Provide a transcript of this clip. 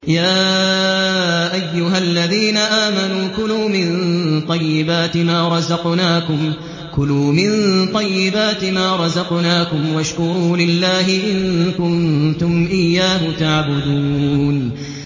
يَا أَيُّهَا الَّذِينَ آمَنُوا كُلُوا مِن طَيِّبَاتِ مَا رَزَقْنَاكُمْ وَاشْكُرُوا لِلَّهِ إِن كُنتُمْ إِيَّاهُ تَعْبُدُونَ